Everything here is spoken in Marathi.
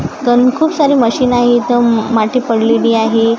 तण खूप सारे मशीन आहे इथं अम माती पडलेली आहे.